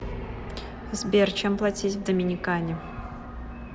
сбер чем платить в доминикане